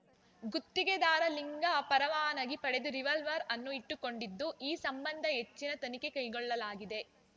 ಗುತ್ತಿಗೆದಾರ ಲಿಂಗ ಪರವಾನಗಿ ಪಡೆದು ರಿವಲ್ವಾರ್‌ ಅನ್ನು ಇಟ್ಟುಕೊಂಡಿದ್ದು ಈ ಸಂಬಂಧ ಹೆಚ್ಚಿನ ತನಿಖೆ ಕೈಗೊಳ್ಳಲಾಗಿದೆ